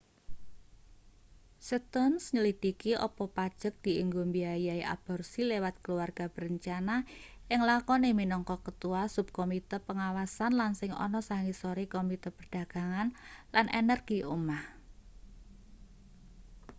stearns nyelidhiki apa pajek dienggo mbiayai aborsi liwat keluarga berencana ing lakone minangka ketua subkomite pengawasan lan sing ana sangisore komite perdagangan lan energi omah